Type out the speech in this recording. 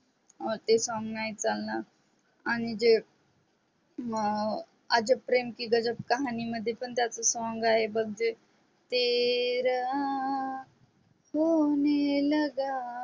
ह ते song नाही चालणार आणि जे आता प्रेम की गाजब कहाणी मध्ये पण त्याच song आहे बघ ते तेरा होने लगा